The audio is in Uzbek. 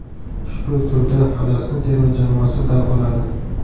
Ushbu turda Falastin terma jamoasi dam oladi.